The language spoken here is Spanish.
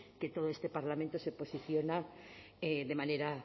que todo este parlamento se posiciona de manera